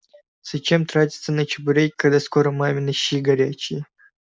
зачем тратиться на чебурек когда скоро мамины щи горячие